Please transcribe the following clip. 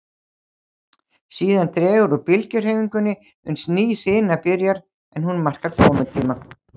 Síðan dregur úr bylgjuhreyfingunni uns ný hrina byrjar, en hún markar komutíma